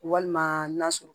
Walima n'a sɔrɔ